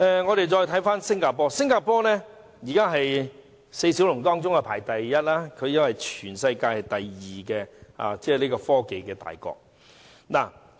我們看看新加坡，新加坡如今在四小龍中排名第一，因為新加坡是全球第二大的科技大國。